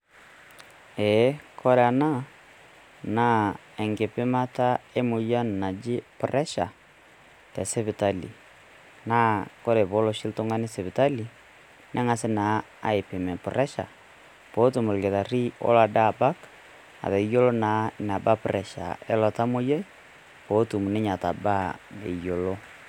Ee kore ena naa enkipimata emoyian naji pressure tesipitali. Naa kore oshi pee elo oltung'ani sipitali neng'asi naa aipim empuresha peetum olkitarri olo Ade abak atayiolo na enaba naa empuresha eilo tamoyiai pee etum naa atabaa eyiolo.